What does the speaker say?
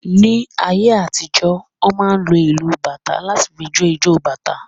Ní ayé àtijó, wọn máa ń lò ìlu bàtá láti fí jo ìjọ bàtá